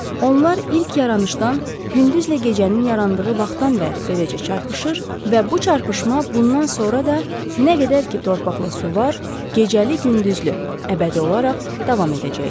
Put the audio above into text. Onlar ilk yaranışdan, gündüzlə gecənin yarandığı vaxtdan bəri beləcə çarpışır və bu çarpışma bundan sonra da nə qədər ki torpaqla su var, gecəli-gündüzlü əbədi olaraq davam edəcəkdir.